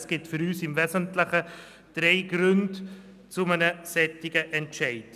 Es gibt für uns im Wesentlichen drei Gründe für einen solchen Entscheid.